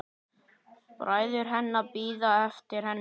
Bræður hennar bíða eftir henni.